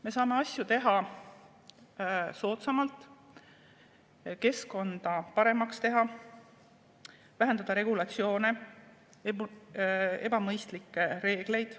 Me saame asju teha soodsamalt, saame keskkonda paremaks teha, vähendada regulatsioone, ebamõistlikke reegleid.